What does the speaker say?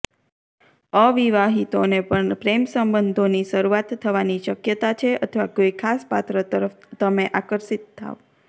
અવિવાહિતોને પણ પ્રેમસંબંધોની શરૂઆત થવાની શક્યતા છે અથવા કોઇ ખાસ પાત્ર તરફ તમે આકર્ષિત થાવ